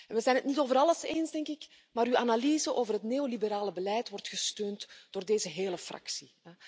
We zijn het niet over alles eens, maar uw analyse over het neoliberale beleid wordt gesteund door deze hele fractie.